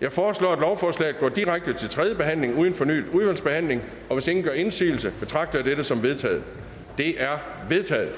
jeg foreslår at lovforslaget går direkte til tredje behandling uden fornyet udvalgsbehandling hvis ingen gør indsigelse betragter jeg dette som vedtaget det er vedtaget